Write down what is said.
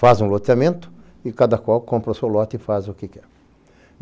Faz um loteamento e cada qual compra o seu lote e faz o que quer.